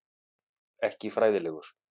Ekki fræðilegur.